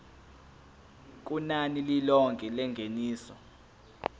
kunani lilonke lengeniso